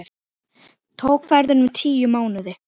Tók ferðin um tíu mánuði.